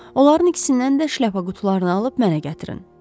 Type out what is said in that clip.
Onların ikisindən də şlyapa qutularını alıb mənə gətirin.